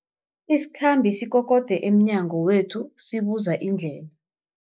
Isikhambi sikokode emnyango wethu sibuza indlela.